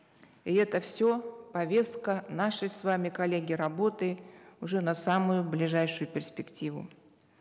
и это все повестка нашей с вами коллеги работы уже на самую ближайшую перспективу